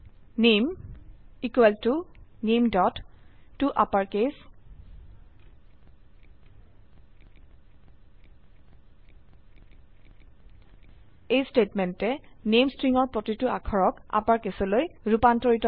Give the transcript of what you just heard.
নামে ইকোৱেল ত nametoUpperCase এই স্টেটমেন্টে নামে স্ট্ৰিংৰ প্ৰতিটো অক্ষৰক আপাৰকেছলৈ ৰুপান্তৰিত কৰে